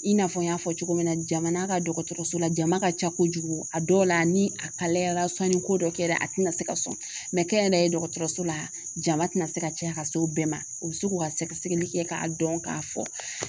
I n'a fɔ n y'a fɔ cogo min na jamana ka dɔgɔtɔrɔso la jama ka ca kojugu a dɔw la ni a yara sɔnni ko dɔ kɛra a tɛna se ka sɔn kɛnyɛrɛye dɔgɔtɔrɔso la jama tɛna se ka caya ka se o bɛɛ ma o bɛ se k'u ka sɛgɛsɛgɛli kɛ k'a dɔn k'a fɔ